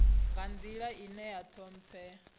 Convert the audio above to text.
nga nḓila ine ya ṱhomphea